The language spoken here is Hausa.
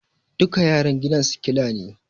Duka yaran gidan sikila ne